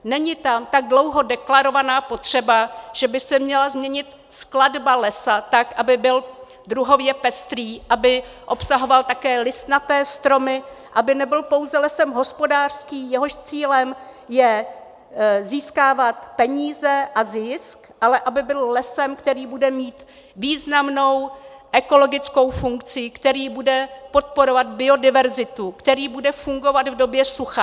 Není tam tak dlouho deklarovaná potřeba, že by se měla změnit skladba lesa tak, aby byl druhově pestrý, aby obsahoval také listnaté stromy, aby nebyl pouze lesem hospodářským, jehož cílem je získávat peníze a zisk, ale aby byl lesem, který bude mít významnou ekologickou funkci, který bude podporovat biodiverzitu, který bude fungovat v době sucha.